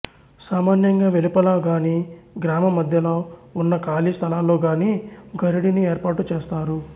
సామాన్యంగా వెలుపల గాని గ్రామ మద్యలో వున్న ఖాళీ స్థలాల్లో గాని గరిడిని ఏర్పాటు చేస్తారు